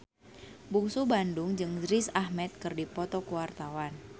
Bungsu Bandung jeung Riz Ahmed keur dipoto ku wartawan